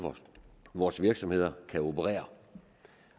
vores virksomheder kan operere